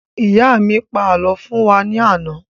Ìyá mi pa àlọ́ fún wa ní àná